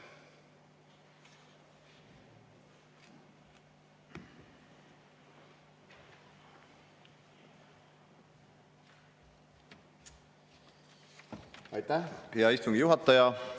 Aitäh, hea istungi juhataja!